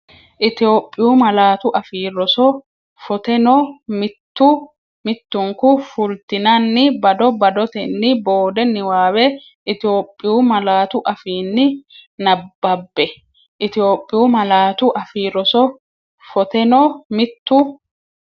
Itophiyu Malaatu Afii Roso foteno, mittu mittunku fultinanni bado badotenni boode niwaawe Itophiyu malaatu afiinni nabbabbe Itophiyu Malaatu Afii Roso foteno, mittu.